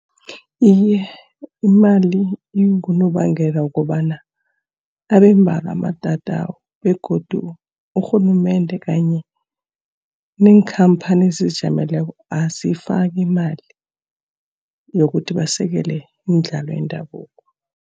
Iye, imali ingunobangela wokobana abe mbalwa amatatawu. Begodu urhulumende kanye neenkhamphani ezizijameleko aziyifaki imali yokuthi basekele imidlalo yendabuko.